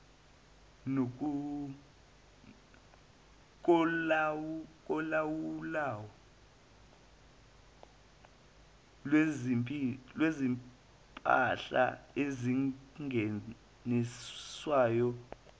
kolawulo lwezimpahla ezingeniswayo